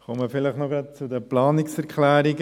Ich komme noch zu den Planungserklärungen.